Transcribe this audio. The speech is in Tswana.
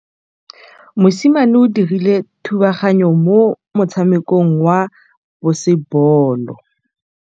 Mosimane o dirile thubaganyô mo motshamekong wa basebôlô.